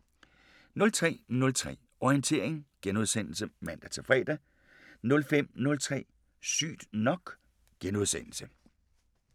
03:03: Orientering *(man-fre) 05:03: Sygt nok *